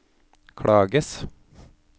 klages